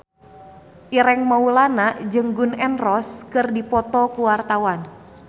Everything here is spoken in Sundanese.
Ireng Maulana jeung Gun N Roses keur dipoto ku wartawan